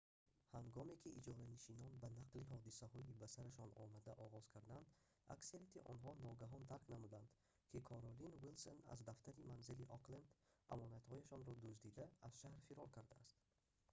ҳангоме ки иҷоранишинон ба нақли ҳодисаи ба сарашон омада оғоз карданд аксарияти онҳо ногаҳон дарк намуданд ки каролин уилсон аз дафтари манзилии окленд амонатҳояшонро дуздида аз шаҳр фирор кардааст